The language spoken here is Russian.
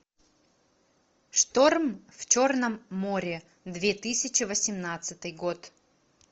шторм в черном море две тысячи восемнадцатый год